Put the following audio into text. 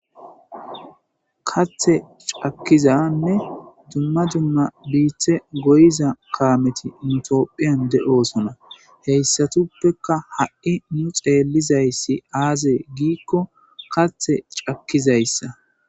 Kathe cakkizanne dumma dumma biithe goyiza kaameti mitophiyan de7osona heyssatuppeka ha7i nu xeelizayssi aazee giikko kathe cakkizayssa